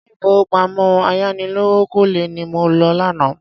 Ilé ìfowópamọ́ ayánilówókọ́lẹ́ ni mo lọ lánàá.